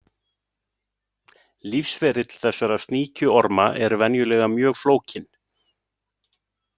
Lífsferill þessara sníkjuorma er venjulega mjög flókinn.